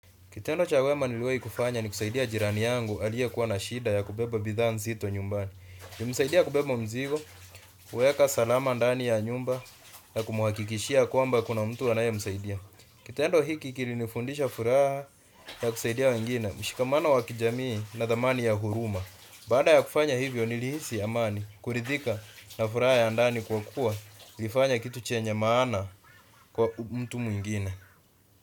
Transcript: Kitendo cha wema niliwahi kufanya ni kusaidia jirani yangu aliyekuwa na shida ya kubeba bidhaa nzito nyumbani. Nilimsaidia kubeba mzigo, kuweka salama ndani ya nyumba na kumhakikishia kwamba kuna mtu anayemsaidia. Kitendo hiki kilinifundisha furaha ya kusaidia wengine, mshikamana wa kijamii na thamani ya huruma. Baada ya kufanya hivyo nilihisi amani, kuridhika na furaha ya ndani kwa kuwa nilifanya kitu chenye maana kwa mtu mwingine.